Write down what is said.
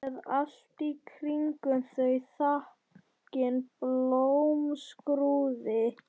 Beð allt í kringum þau þakin blómskrúði.